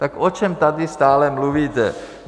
Tak o čem tady stále mluvíte?